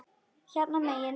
Hérna megin.